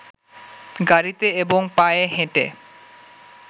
গাড়ীতে এবং পায়ে হেঁটে